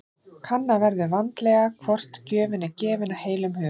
Kanna verður vandlega hvort gjöfin er gefin af heilum hug.